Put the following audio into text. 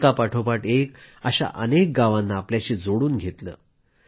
एकापाठोपाठ एक अनेक गावांना आपल्याशी जोडून घेतलं